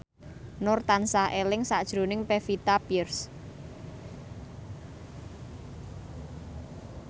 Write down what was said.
Nur tansah eling sakjroning Pevita Pearce